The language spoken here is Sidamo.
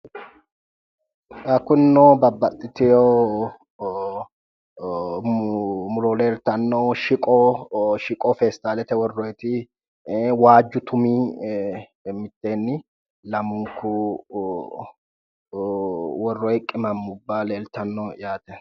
Xa kunino babbaxxitiwo muro leeltanno. Shiqo shiqo feestaalete worroyiti, waajju tumi mitteenni lamunku worroyi qimamubba leeltanno yaate.